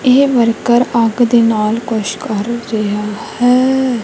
ਇਹ ਵਰਕਰ ਅੱਗ ਦੇ ਨਾਲ ਕੁਝ ਕਰ ਰਿਹਾ ਹੈ।